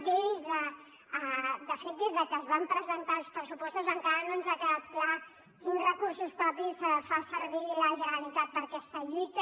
de fet des de que es van presentar els pressupostos encara no ens ha quedat clar quins recursos propis fa servir la generalitat per aquesta lluita